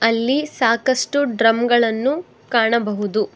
ಅಲ್ಲಿ ಸಾಕಷ್ಟು ಡ್ರಮ್ ಗಳನ್ನು ಕಾಣಬಹುದು.